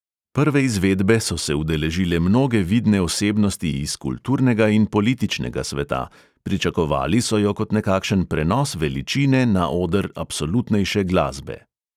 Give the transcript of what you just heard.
Prve izvedbe so se udeležile mnoge vidne osebnosti iz kulturnega in političnega sveta, pričakovali so jo kot nekakšen prenos veličine na oder absolutnejše glasbe.